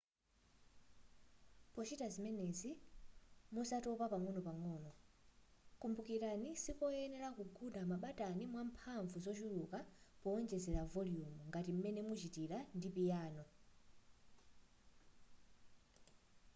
pochita zimenezi muzatopa pang'onopang'o kumbukirani sikoyenera kugunda mabatani mwamphamvu zochuluka powonjezera voliyumu ngati m'mene muchitira ndi piyano